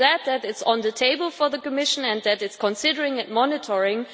I am glad that it is on the table for the Commission and that it is considering monitoring.